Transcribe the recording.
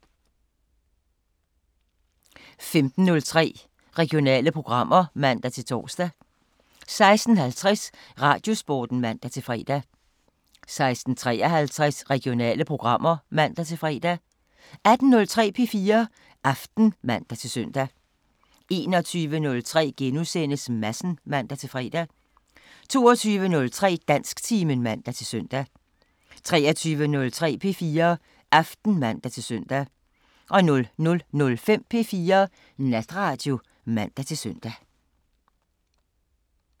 15:03: Regionale programmer (man-tor) 16:50: Radiosporten (man-fre) 16:53: Regionale programmer (man-fre) 18:03: P4 Aften (man-søn) 21:03: Madsen *(man-fre) 22:03: Dansktimen (man-søn) 23:03: P4 Aften (man-søn) 00:05: P4 Natradio (man-søn)